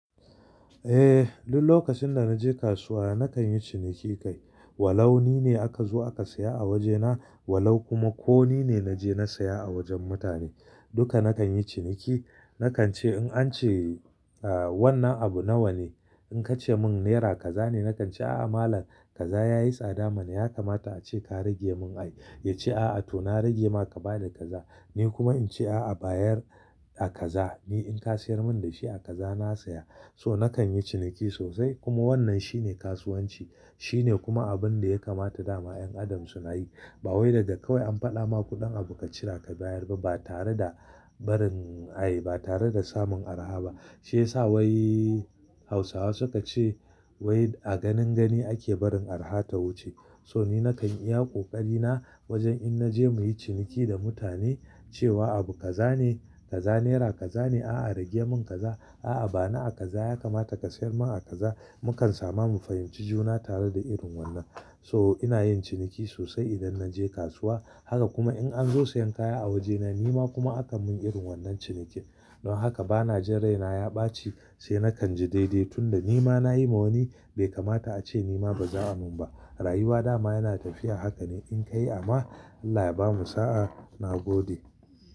Eh, duk lokacin da na je kasuwa nakan yi ciniki kai, Walau ni ne aka zo aka saya a wajena, walau kuma ko ni ne na je na saya a wajen mutane. Duka nakan yi ciniki. Nakan ce in an ce, ah, wannan abu nawa ne? In ka ce mun naira kaza ne, nakan ce a'a malam kaza ya yi tsada mana, ya kamata ace ka rage mun ai. Ya ce a'a to na rage ma ka ba da kaza, Ni kuma in ce a'a bayar a kaza, ni in ka siyar mun da shi a kaza na saya. So nakan yi ciniki sosai kuma wannan shine kasuwanci. Shine kuma abun da ya kamata dama 'yan Adam su na yi, ba wai daga kawai an faɗa ma kuɗin abu ka cira ka bayar ba, ba tare da barin ai, ba tare da samun araha ba, Shi yasa wai, Hausawa suka ce wai a ganin gani ake barin araha ta wuce. So ni nakan iya ƙoƙari na, wajen in naje muyi ciniki da mutane, cewa abu kaza ne, kaza naira kaza ne, a'a rage mun kaza, a'a ba ni a kaza ya kamata ka siyar mun a kaza, mukan sama mu fahimci juna tare da irin wannan, Toh, ina yin ciniki sosai idan na je kasuwa, Haka kuma in an zo siyan kaya a wajena nima kuma akan mun irin wannan cinikin. Don haka bana jin raina ya ɓaci, sai na kanji daidai, tunda nima na yi ma wani, bai kamata ace nima ba za'a mun ba. Rayuwa dama yana tafiya haka ne, in ka yi amma, Allah ya bamu sa'a, na gode.